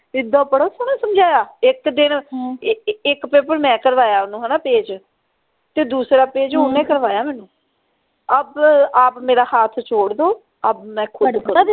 ਇੱਦਾ ਬੜਾ ਸੋਹਣਾ ਸਮਝਾਇਆ ਇਕ ਦਿਨ ਇਕ ਇਕ ਪੇਪਰ ਮੈਂ ਕਰਵਾਇਆ ਓਹਨੂੰ ਹਣਾ page ਤੇ ਦੂਸਰਾ page ਓਹਨੇ ਕਰਵਾਇਆ ਮੈਨੂੰ ਅਬ ਆਪ ਮੇਰਾ ਹੱਥ ਛੋੜ ਦੋ ਅਬ ਮੈਂ ਖੁਦ